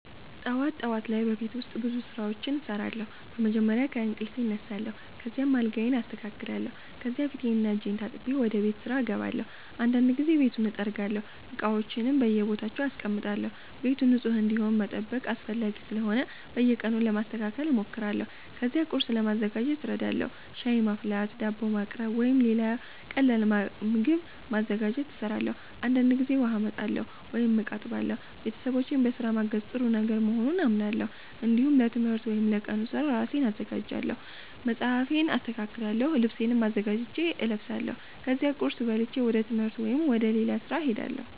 ጠዋት ጠዋት ላይ በቤት ውስጥ ብዙ ስራዎች እሰራለሁ። መጀመሪያ ከእንቅልፌ እነሳለሁ፣ ከዚያም አልጋዬን አስተካክላለሁ። ከዚያ ፊቴንና እጄን ታጥቤ ወደ ቤት ስራ እገባለሁ። አንዳንድ ጊዜ ቤቱን እጠርጋለሁ፣ እቃዎችንም በየቦታቸው አስቀምጣለሁ። ቤቱ ንጹህ እንዲሆን መጠበቅ አስፈላጊ ስለሆነ በየቀኑ ለማስተካከል እሞክራለሁ። ከዚያ ቁርስ ለማዘጋጀት እረዳለሁ። ሻይ ማፍላት፣ ዳቦ ማቅረብ ወይም ሌላ ቀላል ምግብ ማዘጋጀት እሰራለሁ። አንዳንድ ጊዜ ውሃ አመጣለሁ ወይም እቃ አጥባለሁ። ቤተሰቦቼን በስራ ማገዝ ጥሩ ነገር መሆኑን አምናለሁ። እንዲሁም ለትምህርት ወይም ለቀኑ ስራ ራሴን አዘጋጃለሁ። መጽሐፌን አስተካክላለሁ፣ ልብሴንም አዘጋጅቼ እለብሳለሁ። ከዚያ ቁርስ በልቼ ወደ ትምህርት ወይም ወደ ሌላ ስራ እሄዳለሁ።